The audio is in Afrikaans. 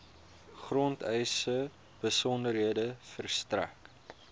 grondeise besonderhede verstrek